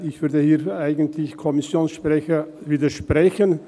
Ich würde hier eigentlich dem Kommissionssprecher widersprechen.